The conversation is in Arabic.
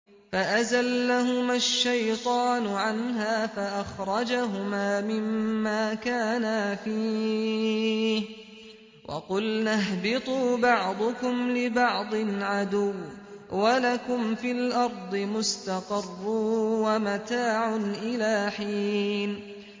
فَأَزَلَّهُمَا الشَّيْطَانُ عَنْهَا فَأَخْرَجَهُمَا مِمَّا كَانَا فِيهِ ۖ وَقُلْنَا اهْبِطُوا بَعْضُكُمْ لِبَعْضٍ عَدُوٌّ ۖ وَلَكُمْ فِي الْأَرْضِ مُسْتَقَرٌّ وَمَتَاعٌ إِلَىٰ حِينٍ